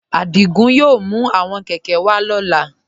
Adígún yóò mú àwọn kẹ̀kẹ̀ wà lọla.